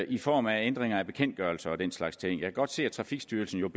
i form af ændringer af bekendtgørelser og den slags ting kan godt se at trafikstyrelsen